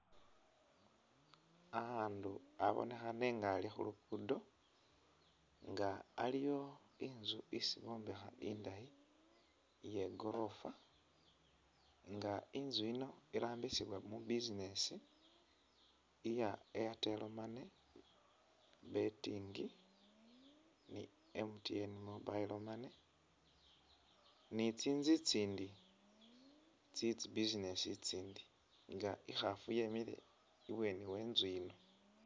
Akhundu abonekhane nga ali khu luguudo nga aliwo inzu isi bombekha indayi iye gorofa nga inzu yino irambisibwa mu business iya airtel money, betting ni MTN mobile money ni tsinzu itsindi tse tsi business itsindi nga i'khaafu yemile iburangisi we tsinzi itsi .